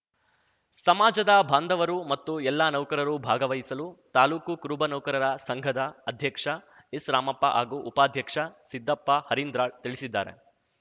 ಸಮಾಜದ ಬಾಂಧವರು ಮತ್ತು ಎಲ್ಲ ನೌಕರರು ಭಾಗವಹಿಸಲು ತಾಲೂಕು ಕುರುಬ ನೌಕರರ ಸಂಘದ ಅಧ್ಯಕ್ಷ ಎಸ್‌ರಾಮಪ್ಪ ಹಾಗೂ ಉಪಾಧ್ಯಕ್ಷ ಸಿದ್ದಪ್ಪ ಹರಿಂದ್ರಾಳ್‌ ತಿಳಿಸಿದ್ದಾರೆ